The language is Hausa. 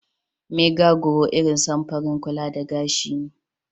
Maga grawt irin samfurin kulla da gashi ne.